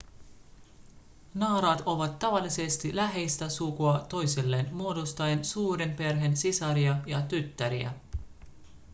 naaraat ovat tavallisesti läheistä sukua toisilleen muodostaen suuren perheen sisaria ja tyttäriä